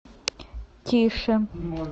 тише